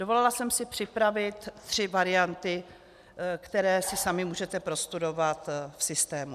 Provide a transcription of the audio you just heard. Dovolila jsem si připravit tři varianty, které si sami můžete prostudovat v systému.